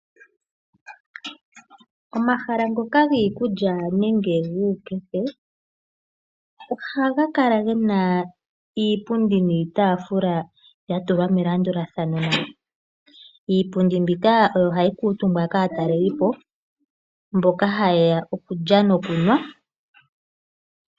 Omahala ngoka giikulya nenge guukefe ohaga kala ge na iipundi niitaafula ya tulwa melandulathano. Iipundi mbika oyo hayi kuutumbwa kaatalelipo mboka haye ya okulya nokunwa.